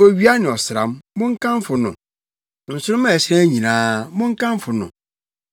Owia ne ɔsram, monkamfo no, nsoromma a ɛhyerɛn nyinaa, monkamfo no.